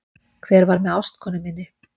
Hver var með ástkonu minni